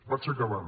vaig acabant